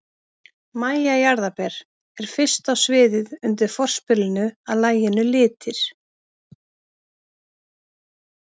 MÆJA JARÐARBER er fyrst á sviðið undir forspilinu að laginu Litir.